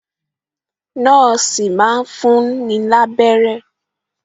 Nọ́ọ̀sì máa ń fún ni lábẹ́rẹ́